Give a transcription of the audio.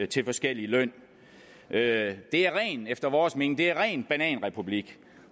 til forskellig løn det er efter vores mening ren bananrepublik